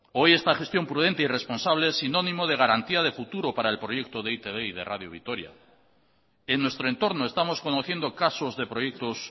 hoy esta gestión prudente y responsable es sinónimo de garantía de futuro para el proyecto de e i te be y de radio vitoria en nuestro entorno estamos conociendo casos de proyectos